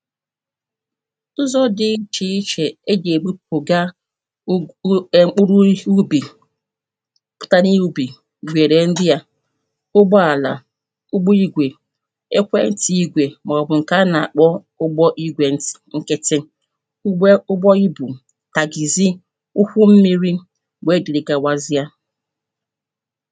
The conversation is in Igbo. Ụzọ dị iche ichè e ji egbu ụ̀ga ugu ẹm uru isi ubi kari ubi were ndị à ụgbọ alà ụgbọ igwè ekwentị igwè maọbụ̀ nke a na-akpọ ụgbọ igwè ntị̀ nkịtị ụgbọ ugbọ ibū taxizi ụwụ mmiri wee dịrị gawazịa